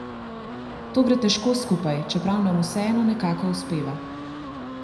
To gre težko skupaj, čeprav nam vseeno nekako uspeva.